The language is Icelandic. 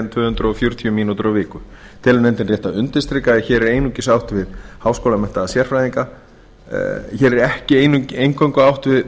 tvö hundruð fjörutíu mínútur á viku telur nefndin rétt að undirstrika að hér er ekki eingöngu átt við